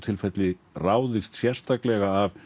ráðist sérstaklega af